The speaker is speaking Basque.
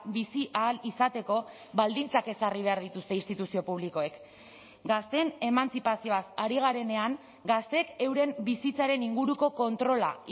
bizi ahal izateko baldintzak ezarri behar dituzte instituzio publikoek gazteen emantzipazioaz ari garenean gazteek euren bizitzaren inguruko kontrola